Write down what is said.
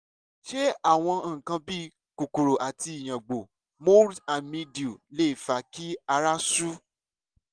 ṣé àwọn nǹkan bíi kòkòrò àti ìyàngbò mold and mildew lè fa kí ará sú